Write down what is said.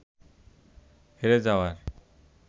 হেরে যাওয়ার